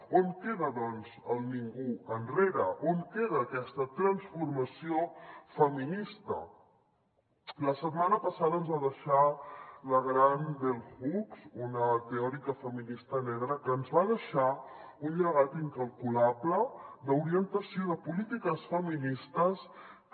on queda doncs el ningú enrere on queda aquesta transformació feminista la setmana passada ens va deixar la gran bell hooks una teòrica feminista negra que ens va deixar un llegat incalculable d’orientació de polítiques feministes que